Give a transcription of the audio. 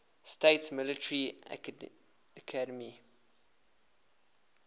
states military academy